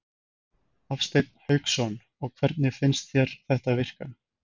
Hafsteinn Hauksson: Og hvernig finnst þér þetta virka?